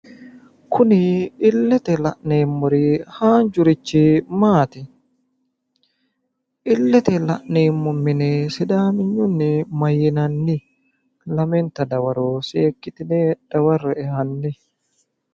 kuni illete la'neemori haanjurichi maati? Illete la'neemmo mine sidaaminyunni mayiinanni ? Lamenta dawaro seekkitine dawarre'e hanni.